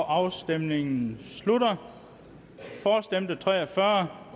afstemningen slutter for stemte tre og fyrre